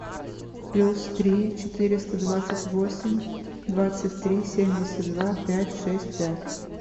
плюс три четыреста двадцать восемь двадцать три семьдесят два пять шесть пять